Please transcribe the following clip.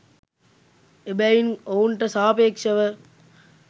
එබැවින් ඔවුන්ට සාපේක්‍ෂව